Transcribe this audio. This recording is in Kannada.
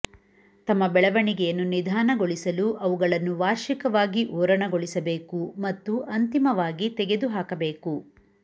ತಮ್ಮ ಬೆಳವಣಿಗೆಯನ್ನು ನಿಧಾನಗೊಳಿಸಲು ಅವುಗಳನ್ನು ವಾರ್ಷಿಕವಾಗಿ ಓರಣಗೊಳಿಸಬೇಕು ಮತ್ತು ಅಂತಿಮವಾಗಿ ತೆಗೆದುಹಾಕಬೇಕು